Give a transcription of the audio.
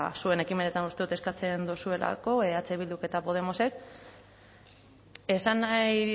zuen ekimenetan uste dut eskatzen duzuelako eh bilduk eta podemosek esan nahi